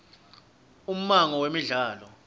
ummango wemidlalo